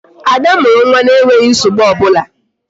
Ada mụrụ nwa na-enweghị nsogbu ọbụla